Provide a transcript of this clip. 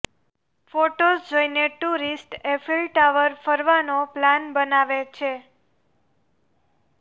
photos જોઈને tourist Eiffel tower ફરવાનો plan બનાવે છે